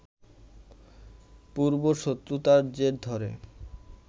পূর্বশত্রুতার জের ধরে